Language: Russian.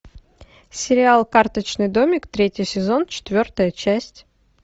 сериал карточный домик третий сезон четвертая часть